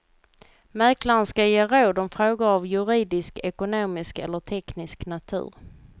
Mäklaren ska ge råd om frågor av juridisk, ekonomisk eller teknisk natur.